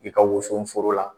I ka wso foro la,